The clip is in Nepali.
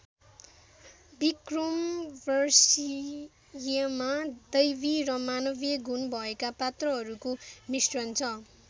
विक्रमोर्वशीयमा दैवी र मानवीय गुण भएका पात्रहरूको मिश्रण छ ।